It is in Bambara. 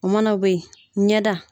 O mana bɔ yen, ɲɛ da